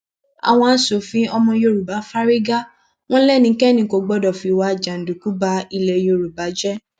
àwọn aṣòfin ọmọ yorùbá fárígá wọn lẹnikẹni kò gbọdọ fìwà jàǹdùkú ba ilé yorùbá jẹ